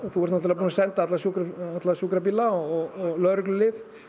þú ert náttúrulega búinn að senda alla sjúkrabíla alla sjúkrabíla og lögreglulið